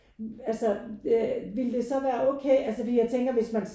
Altså ville det så være okay altså fordi jeg tænker hvis man